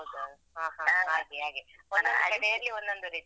ಹ ಹ ಹಾಗೆ ಹಾಗೆ ಒಂದೊಂದು ಕಡೆಯಲ್ಲಿ ಒಂದೊಂದು ರೀತಿ.